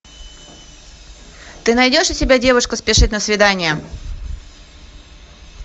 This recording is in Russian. ты найдешь у себя девушка спешит на свидание